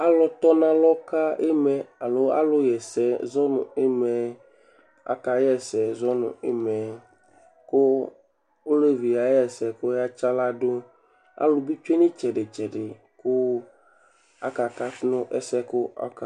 Alʋtɔnalɔ ka ɩma yɛ alo alʋɣa ɛsɛ zɔ nʋ ɩma yɛ akaɣa ɛsɛ zɔ nʋ ɩma yɛ kʋ olevi yɛ yaɣa ɛsɛ kʋ ɔyatsɩ aɣla dʋ Alʋ bɩ tsue nʋ ɩtsɛdɩ-tsɛdɩ kʋ akakatʋ nʋ ɛsɛ yɛ kʋ ɔka